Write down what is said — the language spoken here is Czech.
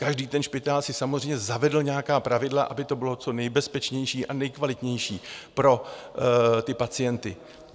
Každý ten špitál si samozřejmě zavedl nějaká pravidla, aby to bylo co nejbezpečnější a nejkvalitnější pro ty pacienty.